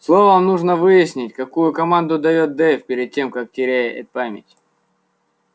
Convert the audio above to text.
словом нужно выяснить какую команду даёт дейв перед тем как теряет память